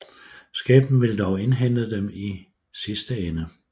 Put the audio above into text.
Skæbnen ville dog indhente dem i sidste ende